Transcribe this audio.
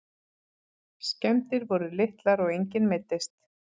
Skemmdir voru litlar og enginn meiddist